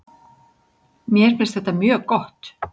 Mér finnst þetta mjög gott.